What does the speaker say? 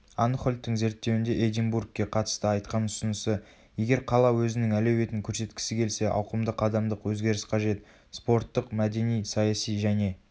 анхольттің зерттеуінде эдинбургке қатысты айтқан ұсынысы егер қала өзінің әлеуетін көрсеткісі келсе ауқымды қадамдық өзгеріс қажет спорттық мәдени саяси және